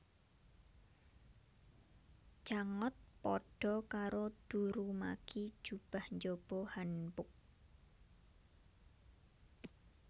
Jangot padha karo durumagi jubah njaba hanbok